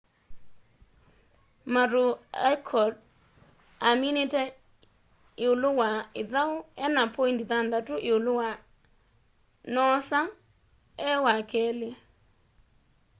maroochydore aminite iulu wa ithau ena poindi thanthatu iulu wa noosa e wakeli